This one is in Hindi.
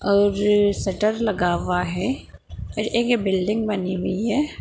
और सटर लगा हुआ है और एक बिल्डिंग बनी हुई है।